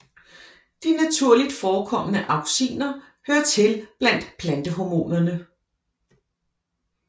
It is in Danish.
De naturligt forekommende auxiner hører til blandt plantehormonerne